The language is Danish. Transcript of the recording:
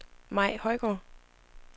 Mai Højgaard